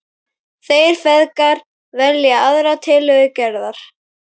Þeir feðgar velja aðra tillögu Gerðar.